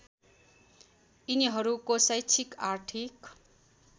यिनीहरूको शैक्षिक आर्थिक